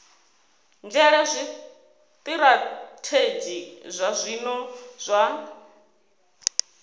nzhele zwitirathedzhi zwa zwino zwa